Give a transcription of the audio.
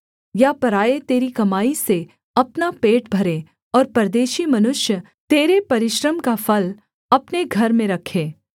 या पराए तेरी कमाई से अपना पेट भरें और परदेशी मनुष्य तेरे परिश्रम का फल अपने घर में रखें